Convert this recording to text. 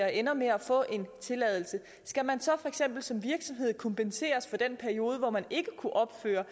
ender med at få en tilladelse skal man så for eksempel som virksomhed kompenseres for den periode hvor man ikke kunne opføre